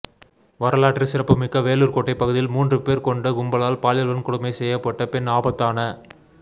வரலாற்று சிறப்புமிக்க வேலூர் கோட்டை பகுதியில் மூன்று பேர் கொண்ட கும்பலால் பாலியல் வன்கொடுமை செய்யப்பட்ட பெண் ஆபத்தான